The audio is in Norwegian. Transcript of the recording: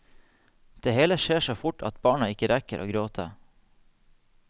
Det hele skjer så fort at barna ikke rekker å gråte.